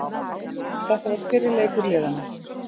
Þetta var fyrri leikur liðanna